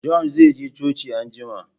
John zai je coci anjima